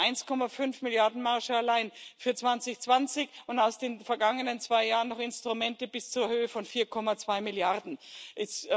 Wir haben 1,5 Milliarden EUR Marge allein für 2020 und aus den vergangenen zwei Jahren noch Instrumente bis zur Höhe von 4,2 Milliarden EUR.